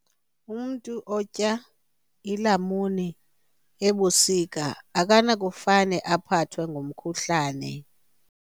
Umntu otya iilamuni ebusika akanakufane aphathwe ngumkhuhlane.